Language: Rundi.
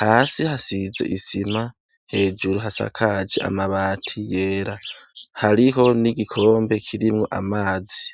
hasi hasize isima, hejuru hasakaje amabati yera, hariho n'igikombe kirmwo amazi.